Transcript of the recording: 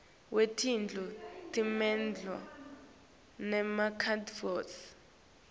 wetindlu temilandvo nemarekhodi